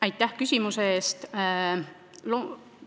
Aitäh küsimuse eest!